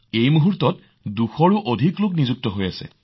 এতিয়া ২০০ত কৈও অধিক আছে